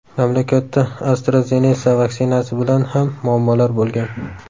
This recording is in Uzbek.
Mamlakatda AstraZeneca vaksinasi bilan ham muammolar bo‘lgan.